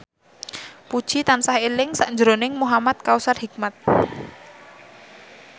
Puji tansah eling sakjroning Muhamad Kautsar Hikmat